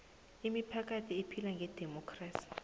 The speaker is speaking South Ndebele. imiphakathi ephila ngedemokhrasi